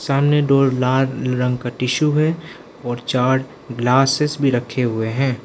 सामने दो लाल रंग का टिशु है और चार ग्लासेस भी रखे हुए हैं।